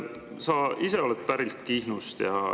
Sa ise oled pärit Kihnust.